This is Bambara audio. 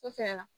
O fɛ la